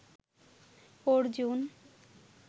Arjun